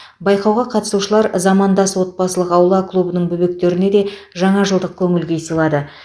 байқауға қатысушылар замандас отбасылық аула клубының бөбектеріне де жаңа жылдық көңіл күй сыйлады